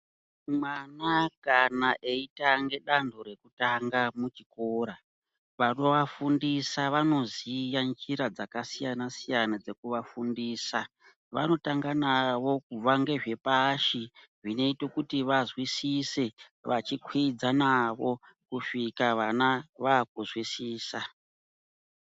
Mwana kana eitange danho rekutanga muchikora, vanovafundisa vanoziya njira dzakasiyana-siyana dzekuvafundisa. Vanotanga navo kubva ngezvepashi, zvinoite kuti vazwisise, vachikwiidza navo, kusvika vana vaakuzwisisa.